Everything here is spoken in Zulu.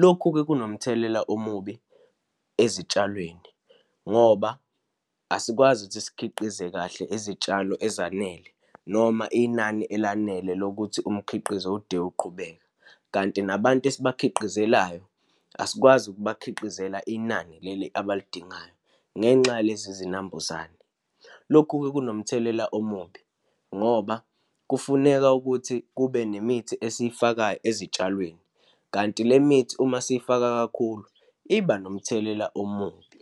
Lokhu-ke kunomthelela omubi ezitshalweni, ngoba asikwazi ukuthi sikhiqize kahle izitshalo ezanele, noma inani elanele lokuthi umkhiqizo ude uqhubeka. Kanti nabantu esibakhiqizayo asikwazi kubakhiqizela inani leli abaludingayo, ngenxa yalezi zinambuzane. Lokhu kunomthelela omubi, ngoba kufuneka ukuthi kube nemithi esiyifakayo ezitshalweni, kanti le mithi uma siyifaka kakhulu iba nomthelela omubi.